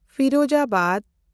Firozabad